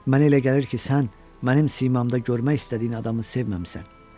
Mənə elə gəlir ki, sən mənim simamda görmək istədiyin adamı sevməmisən.